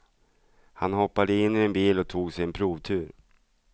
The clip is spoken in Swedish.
Han hoppade in i en bil och tog sig en provtur.